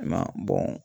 I m'a ye